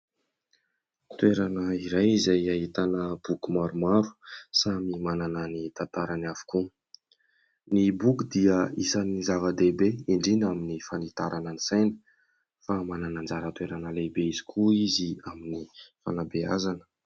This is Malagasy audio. Toerana iray izay ahitana boky maromaro samy manana ny tantarany avokoa, ny boky dia isan'ny zava-dehibe indrindra amin'ny fanitarana ny saina fa manana anjara toerana lehibe izy koa izy amin'ny fanabeazana.